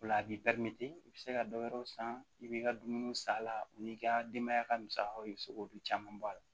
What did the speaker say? O la a b'i i bɛ se ka dɔ wɛrɛw san i b'i ka dumuniw san a la o n'i ka denbaya ka musakaw i bɛ se k'olu caman bɔ a la